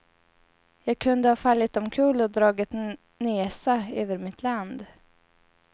Jag kunde ha fallit omkull och dragit nesa över mitt land.